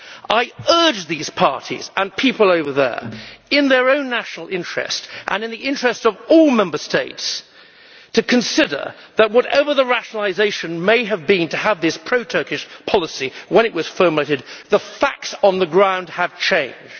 I urge these parties, and people over there, in their own national interest, and in the interest of all Member States, to consider that, whatever their rationalisation may have been to have this pro Turkish policy when it was formulated, the facts on the ground have changed.